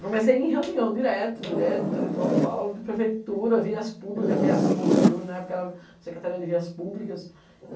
Comecei em reunião direto, direto, da Letropaulo, de prefeitura, vias públicas, que é assim o orbe hoje, na época era Secretaria de Vias Públicas.